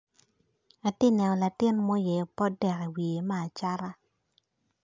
Atye ka neno latin ma oyeyo potdek i wiye me acata